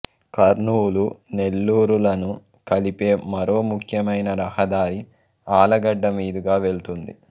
కర్నూలు నెల్లూరు లను కలిపే మరో ముఖ్యమైన రహదారి ఆళ్ళగడ్డ మీదుగా వెళ్తుంది